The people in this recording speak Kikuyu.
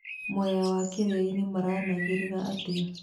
Mwea na Kĩrĩainĩ maranagĩria atĩa?